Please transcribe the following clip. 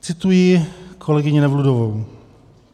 Cituji kolegyni Nevludovou.